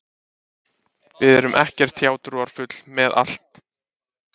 Við erum ekkert hjátrúarfull með þetta